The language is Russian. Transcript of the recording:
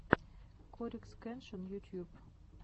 корикс кеншин ютьюб